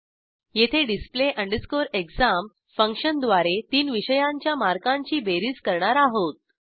येथे display exam फंक्शनद्वारे तीन विषयांच्या मार्कांची बेरीज करणार आहोत